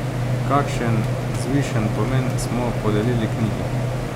Kakšen vzvišen pomen smo podelili knjigi!